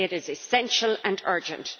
we say it is essential and urgent.